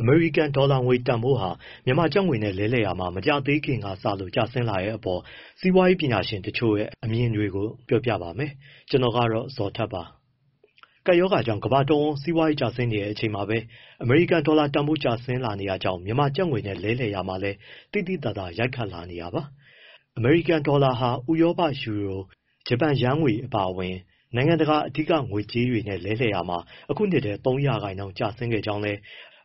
အမေရိကန်ဒေါ်လာငွေ တန်ဖိုးဟာ မြန်မာကျပ်ငွေနဲ့ လဲလှယ်ရာမှာ မကြာသေးခင်ကစလို့ ကျဆင်းလာတဲ့အပေါ် စီးပွားရေး ပညာရှင်တချို့ရဲ့ အမြင်တွေကို ဗွီအိုအေမြန်မာပိုင်းသတင်းထောက် ကိုဇော်ထက်က ပြောပြပေးပါမယ်။ ကပ်ရောဂါကြောင့် ကမ္ဘာတဝန်း စီးပွားရေး ကျဆင်းနေချိန်မှာပဲ အမေရိကန်ဒေါ်လာတန်ဖိုး ကျဆင်းလာနေတာကြောင့် မြန်မာကျပ်ငွေနဲ့ လဲလှယ်ရာမှာလည်း သိသိသာသာ ရိုက်ခတ်လာနေတာပါ။ အမေရိကန်ဒေါ်လာဟာ ဥရောပယူရို၊ ဂျပန်ယန်းငွေ အပါအဝင် နိုင်ငံတကာက အဓိက ငွေကြေးတွေနဲ့ လဲလှယ်ရာမှာ ဒီနှစ်ထဲ ၃ ရာခိုင်နှုန်း ကျဆင်းခဲ့ကြောင်းလည်း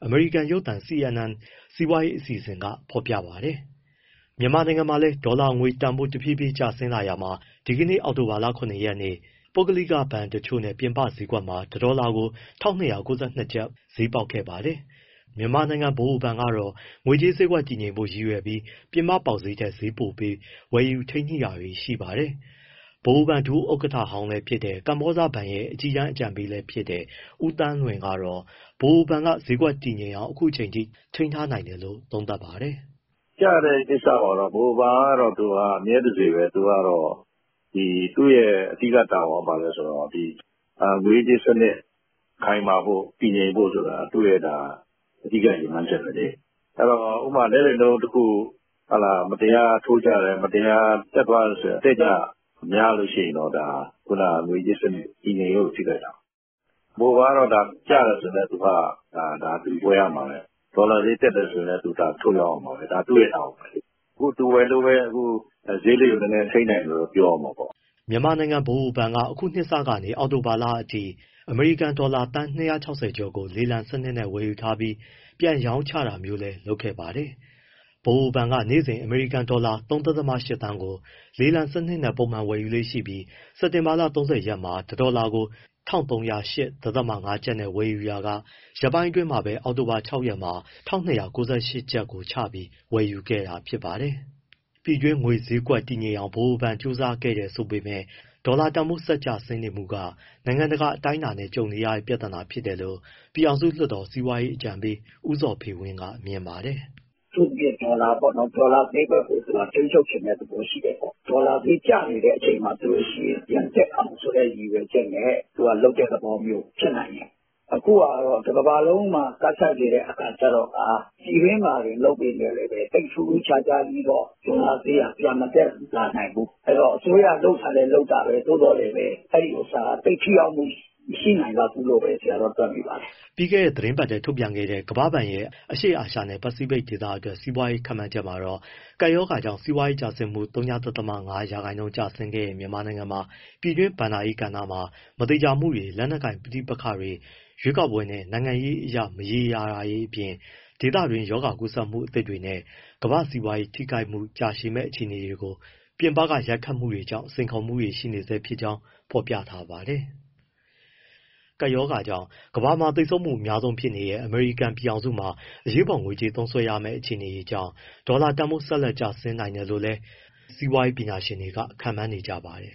အမေရိကန်ရုပ်သံ CNN စီးပွားရေးအစီအစဉ်က ဖော်ပြပါတယ်။ မြန်မာနိုင်ငံမှာလည်း ဒေါ်လာငွေတန်ဖိုး တဖြည်းဖြည်းကျဆင်းလာရာမှာ ဒီကနေ့ အောက်တိုဘာလ ၇ ရက်နေ့ ပုဂ္ဂလိက ဘဏ်တွေနဲ့ ပြင်ပဈေးကွက်မှာ တဒေါ်လာကို ၁,၂၉၂ ကျပ် ဈေးပေါက်ခဲ့ပါတယ်။ မြန်မာနိုင်ငံ ဗဟိုဘဏ်ကတော့ ငွေကြေးဈေးကွက် တည်ငြိမ်ဖို့ ရည်ရွယ်ချက်နဲ့ ပြင်ပပေါက်ဈေးထက် ဈေးပိုပေး ဝယ်ယူထိန်းညှိတာတွေ ရှိပါတယ်။ ဗဟိုဘဏ်ဒုဥက္ကဋ္ဌဟောင်းလည်းဖြစ် ကမ္ဘောဇဘဏ်ရဲ့ အကြီးတန်း အကြံပေးလည်းဖြစ်တဲ့ ဦးသန်းလွင်ကတော့ ဗဟိုဘဏ်က ဈေးကွက်တည်ငြိမ်အောင် အခုအချိန်အထိ ထိန်းထားနိုင်တယ်လို့ သုံးသပ်ပါတယ်။ "ကျတဲ့ကိစ္စမှာတော့ ဗဟိုဘဏ်က အမြဲတစေပဲ သူကတော့ သူ့ရဲ့အဓိက တာဝန်က ဘာလဲဆိုတော့ ငွေရေးကြေးရေးစနစ် ခိုင်မာဖို့၊ တည်ငြိမ်ဖို့ဆိုတာ သူ့ရဲ့ အဓိက ရည်မှန်းချက်ပဲလေ။ ဥပမာ လဲလှယ်နှုန်းတခု မတရားထိုးကျတယ်၊ မတရားတက်သွားတယ်ဆိုရင် အတက်အကျ များလို့ရှိရင်တော့ ဒါ ငွေရေးကြေးရေး တည်ငြိမ်ရေးကို ထိခိုက်တာပေါ့။ ဗဟိုဘဏ်ကတော့ ကျတယ်ဆိုရင် သူကဝယ်ရမှာပဲ။ ဒေါ်လာဈေးတက်တယ် ဆိုရင်လည်း သူကထုတ်ရောင်းရမှာပဲ။ ဒါသူ့ရဲ့ တာဝန်ပဲ။ အခုသူဝယ်လို့ပဲ ဈေးလေးတွေ နည်းနည်း ထိန်းနိုင်တယ် ပြောရမှာပေါ့။” မြန်မာနိုင်ငံဗဟိုဘဏ်က အခုနှစ်စကနေ အောက်တိုဘာလအထိ အမေရိကန်ဒေါ်လာ သန်း ၂၆၀ ကျော်ကို လေလံစနစ်နဲ့ ဝယ်ယူထားပြီး ပြန်ရောင်းချတာမျိုးလည်း လုပ်ခဲ့ပါတယ်။ ဗဟိုဘဏ်က နေ့စဉ် အမေရိကန်ဒေါ်လာ ၃.၈ သန်းကို လေလံစနစ်နဲ့ ပုံမှန်ဝယ်ယူလေ့ရှိပြီး စက်တင်ဘာ ၃၀ ရက်မှာ တဒေါ်လာကို ၁,၃၀၈.၅ ကျပ်နဲ့ ဝယ်ပြီးခဲ့ရာက ရက်ပိုင်းအတွင်းပဲ အောက်တိုဘာ ၆ ရက်မှာ ကျပ်ငွေ ၁,၂၉၈ ကျပ်ကိုချပြီး ဝယ်ယူခဲ့တာ ဖြစ်ပါတယ်။ ပြည်တွင်းငွေကြေးဈေးကွက်ကို တည်ငြိမ်အောင် ဗဟိုဘဏ်က ကြိုးပမ်းနေတယ်ဆိုပေမဲ့ ဒေါ်လာတန်ဖိုး ကျဆင်းမှုက နိုင်ငံတကာ အတိုင်းအတာနဲ့ ကြုံနေရတဲ့ ပြဿနာဖြစ်တယ်လို့ ပြည်ထောင်စုလွှတ်တော် စီးပွားရေးအကြံပေး ဦးဇော်ဖေဝင်း ကမြင်ပါတယ်။ “အထူးသဖြင့် ဒေါ်လာပေါ့နော်။ ဒေါ်လာဈေးကွက်ကို ထိန်းချုပ်ချင်တဲ့သဘော ရှိတယ်ပေါ့၊ ဒေါ်လာဈေး ကျနေတဲ့ အချိန်မှာဆိုရင် ပြန်တက်အောင်ဆိုတဲ့ ရည်ရွယ်ချက်နဲ့ လုပ်တဲ့သဘောမျိုး ဖြစ်နိုင်တယ်၊ အခုဟာက တကမ္ဘာလုံးမှာ ကပ်ဆိုက်နေတဲ့အခါ ကျတော့ကာ ပြည်တွင်းမှာတင် လုပ်ပေမဲ့လည်း ထူးထူးခြားခြားကြီးတော့ ဒေါ်လာဈေးက ပြန်မတက်လာနိုင်ဘူး၊ အဲဒီတော့ အစိုးရ လုပ်တာလည်း လုပ်တာပဲ သို့သော်သိပ်ထိရောက်မှု မရှိနိုင်လောက်ဘူးပဲ တွက်မိပါတယ်။” ပြီးခဲ့တဲ့ သီတင်းပတ်ထဲ ထုတ်ပြန်ခဲ့တဲ့ ကမ္ဘာ့ဘဏ်ရဲ့ အရှေ့အာရှနဲ့ ပစိဖိတ်ဒေသအတွက် စီးပွားရေး ခန့်မှန်းချက်မှာတော့ ကပ်ရောဂါကြောင့် စီးပွားရေးတိုးတက်မှု ဝ.၅ ရာခိုင်နှုန်းကျဆင်းခဲ့တဲ့ မြန်မာနိုင်ငံမှာ ပြည်တွင်းဘဏ္ဍာရေးကဏ္ဍမှာ မသေချာမှုတွေ၊ လက်နက်ကိုင် ပဋိပက္ခတွေ၊ ရွေးကောက်ပွဲနဲ့ နိုင်ငံရေးအရ မရေရာမှုတွေအပြင် ဒေသတွင်းရောဂါကူးစက်မှုသစ်တွေနဲ့ ကမ္ဘာ့စီးပွားရေးထိခိုက်မှု ကြာရှည်မယ့် အခြေအနေတွေလို ပြင်ပက ရိုက်ခတ်မှုတွေကြောင့် စိန်ခေါ်မှုတွေ ရှိနေဆဲဖြစ်ကြောင်း ဖော်ပြထားပါတယ်။ ကပ်ရောဂါကြောင့် ကမ္ဘာမှာသေဆုံးမှု အများဆုံးဖြစ်နေတဲ့ အမေရိကန် ပြည်ထောင်စုမှာ အရေးပေါ်ငွေကြေးသုံးစွဲရမယ့် အခြေအနေတွေကြောင့် ဒေါ်လာတန်ဖိုး ဆက်လက် ကျဆင်းနိုင်တယ်လို့လည်း စီးပွားရေးပညာရှင်တွေ ခန့်မှန်းနေကြပါတယ်